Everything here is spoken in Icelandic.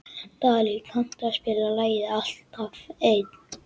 Dalí, kanntu að spila lagið „Alltaf einn“?